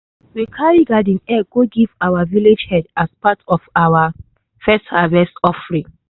we carry garden eggs go give our village head as part of our first harvest offering.